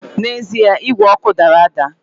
N’ezie igwe ọkụ dara ada